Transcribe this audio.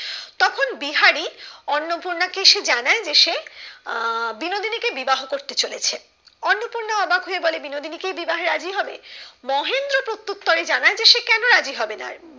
অন্নপূর্ণা কে সে জানায় যে সে আহ বিনোদিনী কে বিবাহ করতে চলেছে অন্নপূর্ণা অবাক হয়ে বলে বিনোদিনী কি বিবাহে রাজি হবে মহেন্দ্র প্রতুত্তরে জানায় যে সে কেন রাজি হবে না?